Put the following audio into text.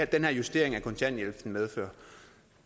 den her justering af kontanthjælpen medfører